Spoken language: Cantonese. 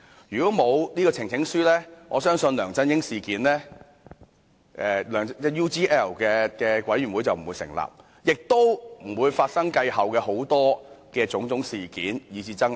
如果沒有呈請書的安排，相信調查梁振英 UGL 事件的專責委員會便不能成立，也不會發生繼後種種事件以至爭拗。